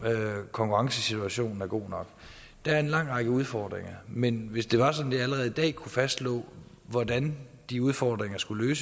konkurrencesituationen er god nok der er en lang række udfordringer men hvis det var sådan at jeg allerede i dag kunne fastslå hvordan de udfordringer skulle